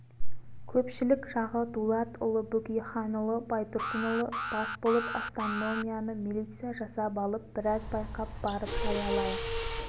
көпшілік жағы дулатұлы бөкейханұлы байтұрсынұлы бас болып автономияны милиция жасап алып біраз байқап барып жариялайық